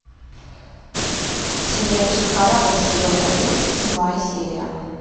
сериальчик корабль сезон одиннадцать седьмая серия